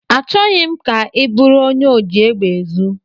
Achọghị m ka ị bụrụ onye oji egbe ezu.